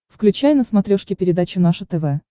включай на смотрешке передачу наше тв